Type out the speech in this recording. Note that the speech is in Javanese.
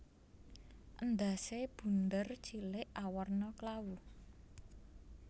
Endhasé bunder cilik awarna klawu